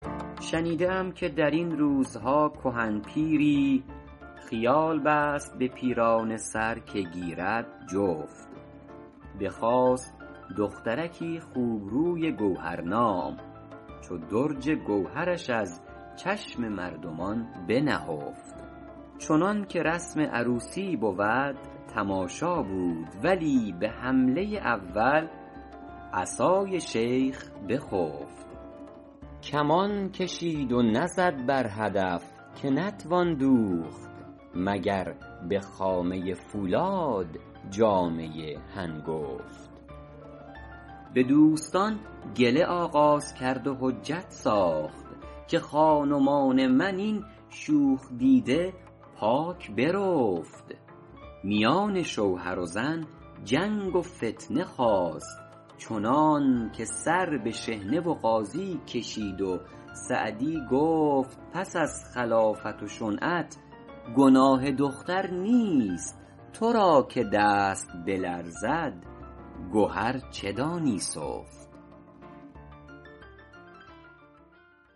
شنیده ام که در این روزها کهن پیری خیال بست به پیرانه سر که گیرد جفت بخواست دخترکی خوبروی گوهرنام چو درج گوهرش از چشم مردمان بنهفت چنان که رسم عروسی بود تماشا بود ولی به حمله اول عصای شیخ بخفت کمان کشید و نزد بر هدف که نتوان دوخت مگر به خامه فولاد جامه هنگفت به دوستان گله آغاز کرد و حجت ساخت که خان ومان من این شوخ دیده پاک برفت میان شوهر و زن جنگ و فتنه خاست چنان که سر به شحنه و قاضی کشید و سعدی گفت پس از خلافت و شنعت گناه دختر نیست تو را که دست بلرزد گهر چه دانی سفت سود دریا نیک بودی گر نبودی بیم موج صحبت گل خوش بدی گر نیستی تشویش خار دوش چون طاووس می نازیدم اندر باغ وصل دیگر امروز از فراق یار می پیچم چو مار